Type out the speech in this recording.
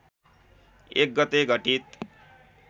१ गते घटित